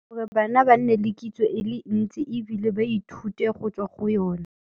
Gore bana ba nne le kitso e le ntsi ebile ba ithute go tswa go yona.